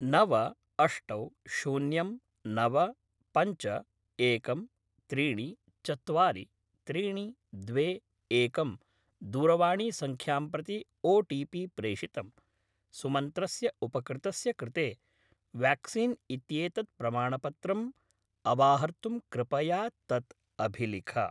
नव अष्ट शून्यं नव पञ्च एकं त्रीणि चत्वारि त्रीणि द्वे एकं दूरवाणीसङ्ख्यां प्रति ओ.टि.पि. प्रेषितम्। सुमन्त्रस्य उपकृतस्य कृते व्याक्सीन् इत्येतत् प्रमाणपत्रम् अवाहर्तुं कृपया तत् अभिलिख।